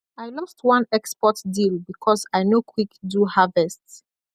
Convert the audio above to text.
i lost one export deal because i no quick do harvest